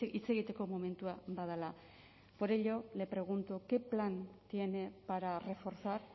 hitz egiteko momentua badela por ello le pregunto qué plan tiene para reforzar